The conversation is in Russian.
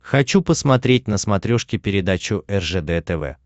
хочу посмотреть на смотрешке передачу ржд тв